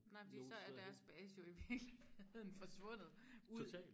Nej fordi så er deres base jo i virkeligheden forsvundet ud